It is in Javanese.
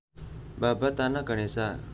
Babad Tanah Ganesha